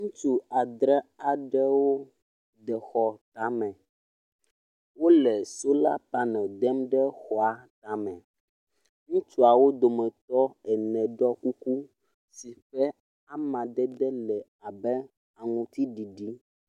Ŋutsu adre aɖewo de xɔ tame. Wo le sola panel dem ɖe xɔa tame. Ŋutsuawo dometɔ ene ɖɔ kuku si ƒe amadede le abe aŋutsiɖiɖi.